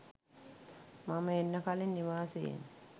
මම එන්න කලින් නිවාසයෙන්